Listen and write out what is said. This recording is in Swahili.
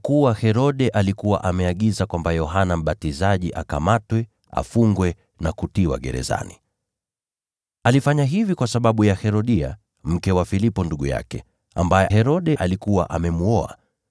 Kwa kuwa Herode alikuwa ameagiza kwamba Yohana Mbatizaji akamatwe, afungwe na kutiwa gerezani. Alifanya hivi kwa sababu ya Herodia, mke wa Filipo, ndugu yake, ambaye Herode alikuwa amemwoa.